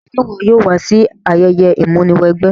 Se wo yóò wa si ayẹyẹ ìmúniwẹgbẹ́?